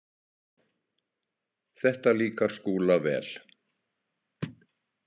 Þetta líkar Skúla vel.